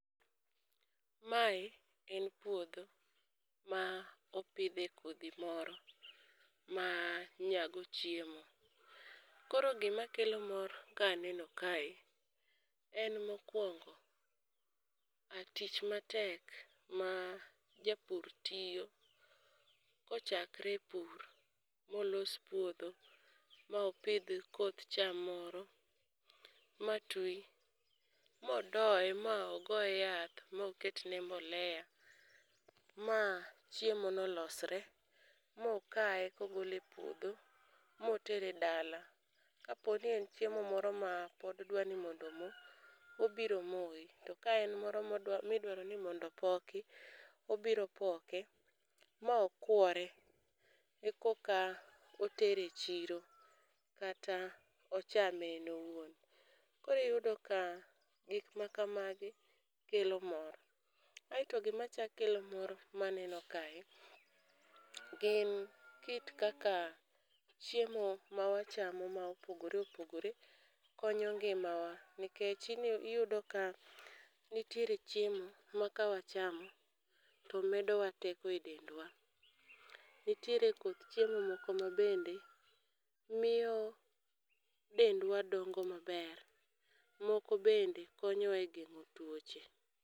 Mae en puodho ma opidhe kodhi moro ma nyago chiemo. Koro gima kelo mor ka aneno kae en mokwongo tich matek ma japur tiyo, kochakre e pur, molos puodho ma opidh koth cham moro ma twi. Modoye ma ogoye yath moketne mbolea ma chiemo no losre, mokaye kogole e puodho motere e dala. Kaponi en chiemo moro ma pod dwani mondo omo, obiro moye. To ka en moro modwa midwaro ni mondo opoki, obiro poke ma okwore. E koka otere e chiro kata ochame en owuon. Koriyudo ka gik ma kamagi kelo mor, aeto gima chak kelo mor maneno kae gin kit kaka chiemo ma wachamo ma opogore opogore, konyo ngima wa. Nikech iyudo ka nitiere chiemo ma ka wachamo to medowa teko e dendwa, nitiere koth chiemo moko ma bende miyo dendwa dongo maber. Moko bende konyowa e geng'o tuoche.